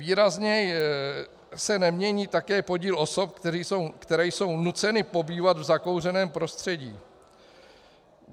Výrazně se nemění také podíl osob, které jsou nuceny pobývat v zakouřeném prostředí.